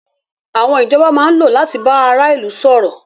Àwọn ìjọba máa ń lò láti bá ara ilu sọ̀rọ̀.